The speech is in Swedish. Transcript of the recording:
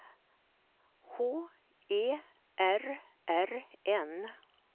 H E R R N